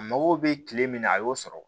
A mago bɛ kile min na a y'o sɔrɔ